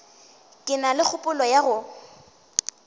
ke na kgopolo ya go